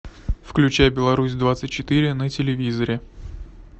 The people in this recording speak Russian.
включай беларусь двадцать четыре на телевизоре